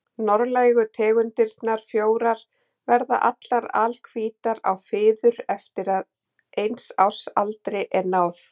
Norðlægu tegundirnar fjórar verða allar alhvítar á fiður eftir að eins árs aldri er náð.